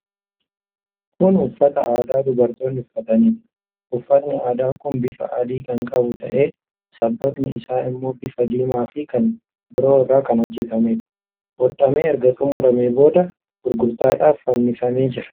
Kun uffata aadaa dubartoonni uffataniidha. Uffatni aadaa kun bifa adii kan qabu ta'ee, sabbatni isaa immoo bifa diimaa fi kan biroo irraa kan hojjetameedha. Hodhamee erga xumuramee booda gurgurtaadhaaf fannifamee jira.